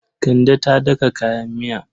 Kande ta daka kayan miya.